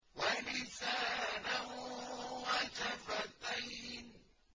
وَلِسَانًا وَشَفَتَيْنِ